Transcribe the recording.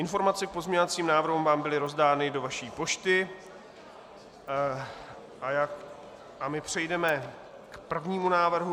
Informace k pozměňovacím návrhům vám byly rozdány do vaší pošty a my přejdeme k prvnímu návrhu.